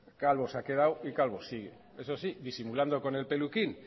calvo se ha quedado y calvo sigue eso sí disimulando con el peluquín